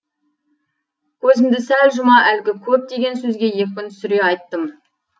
көзімді сәл жұма әлгі көп деген сөзге екпін түсіре айттым